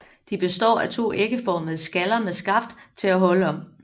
De består af to æggeformede skaller med skaft til at holde om